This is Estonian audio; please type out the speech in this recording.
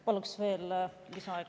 Paluks veel lisaaega.